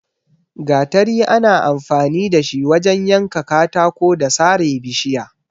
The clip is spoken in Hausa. Gatari ana amfani da shi wajen yanka katako da sare bishiya.